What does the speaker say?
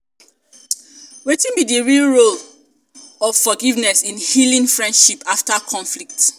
wetin um be di role be di role of forgiveness in healing friendship after conflict?